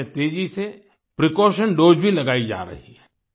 देश में तेजी से प्रीकॉशन दोसे भी लगाई जा रही है